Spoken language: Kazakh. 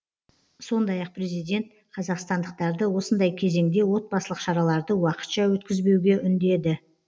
сондай ақ президент қазақстандықтарды осындай кезеңде отбасылық шараларды уақытша өткізбеуге үндеді